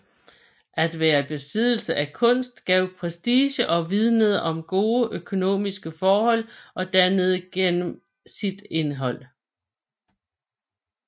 At være i besiddelse af kunst gav prestige og vidnede om gode økonomiske forhold og dannelse gennem sit indhold